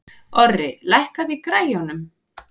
Orri, lækkaðu í græjunum.